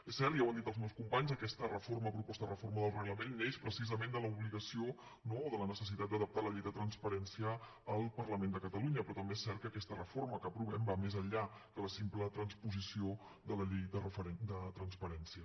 és cert i ja ho han dit els meus companys aquesta reforma o proposta de reforma del reglament neix precisament de l’obligació no o de la necessitat d’adaptar la llei de transparència al parlament de catalunya però també és cert que aquesta reforma que aprovem va més enllà de la simple transposició de la llei de transparència